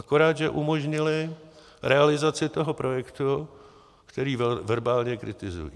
Akorát že umožnili realizaci toho projektu, který verbálně kritizují.